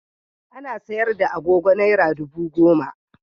Ana sayar da agogo Naira dubu goma.